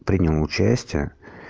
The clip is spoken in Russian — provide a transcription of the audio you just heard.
принял участие